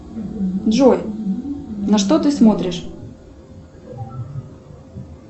джой на что ты смотришь